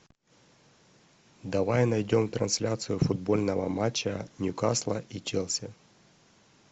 давай найдем трансляцию футбольного матча ньюкасла и челси